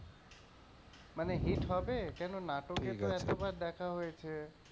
মানে hit হবে? কেনো নাটকে তো এতবার দেখা হয়েছে।